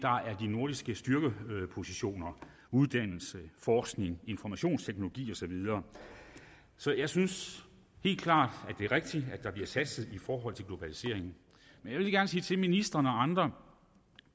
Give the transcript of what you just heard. nordiske styrkepositioner uddannelse forskning informationsteknologi og så videre så jeg synes helt klart at det er rigtigt at der bliver satset i forhold til globaliseringen men jeg sige til ministeren og andre